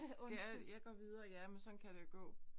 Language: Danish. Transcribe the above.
Skal jeg jeg går videre. Ja men sådan kan det jo gå